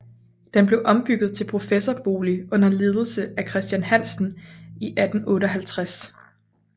Den blev ombygget til professorbolig under ledelse af Christian Hansen i 1858